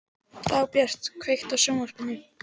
Dagbjört, kveiktu á sjónvarpinu.